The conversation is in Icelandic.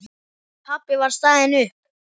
Pabbi var staðinn upp.